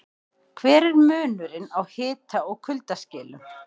Hver er munurinn á hita- og kuldaskilum?